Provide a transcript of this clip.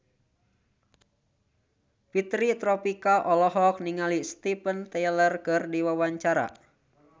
Fitri Tropika olohok ningali Steven Tyler keur diwawancara